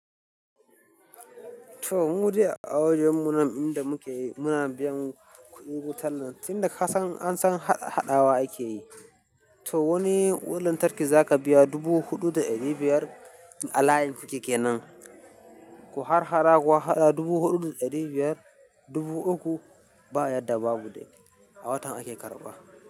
To, mu dai a wajen mu na inda muke, muna biyan kuɗin wutar nan. Tin da ka san an san ha haɗawa ake yi. To wani wutar ki za ka biya dubu huɗu da ɗari biyar al'ayin ku ke kenan, ku har harara ku haɗa dubu huɗu da ɗari biyar dubu uku ba yadda babu dai. A watan ake karɓa.